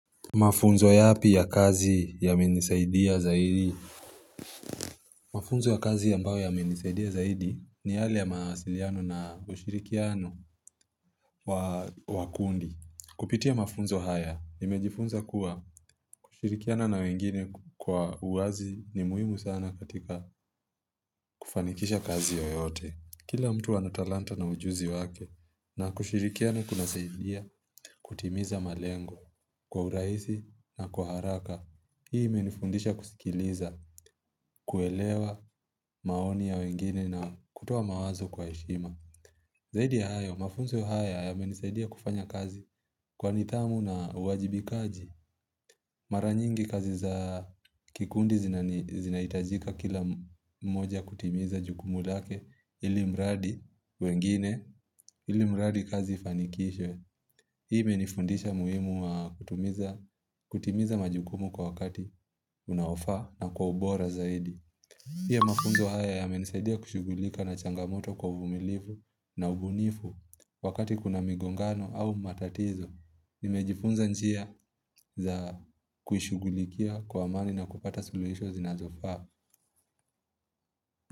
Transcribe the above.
Mafunzo yapi ya kazi yamenisaidia zaidi Mafunzo ya kazi ambayo yamenisaidia zaidi ni yale ya mawasiliano na ushirikiano wa kundi Kupitia mafunzo haya, nimejifunza kuwa kushirikiana na wengine kwa uwazi ni muhimu sana katika kufanikisha kazi yoyote Kila mtu ana talanta na ujuzi wake na kushirikiana kun saidia kutimiza malengo kwa urahisi na kwa haraka Hii imenifundisha kusikiliza, kuelewa maoni ya wengine na kutoa mawazo kwa heshima Zaidi ya hayo, mafunzo haya yamenisaidia kufanya kazi kwa nidhamu na uwajibikaji Mara nyingi kazi za kikundi zinahitajika kila mmoja kutimiza jukumu lake ili mradi kazi ifanikishwe Hii menifundisha umuhimu wa kutimiza majukumu kwa wakati unaofaa na kwa ubora zaidi pia mafunzo haya yamenisaidia kushughulika na changamoto kwa uvumilivu na ubunifu wakati kuna migongano au matatizo nimejifunza njia ya kuishughulikia kwa amani na kupata suluhisho zinazofaa.